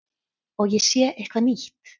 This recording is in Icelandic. Og ég sé eitthvað nýtt.